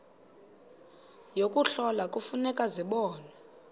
yokuhlola kufuneka zibonwe